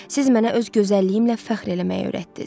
Siz mənə öz gözəlliyimmlə fəxr eləməyi öyrətdiz.